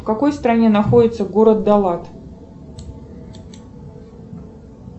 в какой стране находится город далат